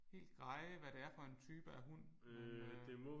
Helt greje hvad det er for en type af hund men øh